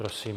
Prosím.